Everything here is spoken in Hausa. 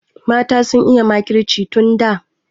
Mata sun iya makirci tun da.